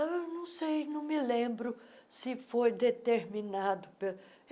Eu não sei, não me lembro se foi determinado. pe